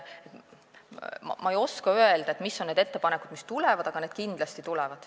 Ma ei oska öelda, mis on need ettepanekud, mis tulevad, aga need kindlasti tulevad.